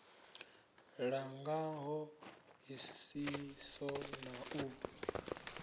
langa ṱho ḓisiso na u